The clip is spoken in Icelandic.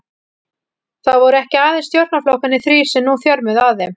Það voru ekki aðeins stjórnarflokkarnir þrír, sem nú þjörmuðu að þeim.